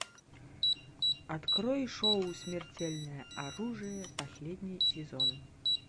открой шоу смертельное оружие последний сезон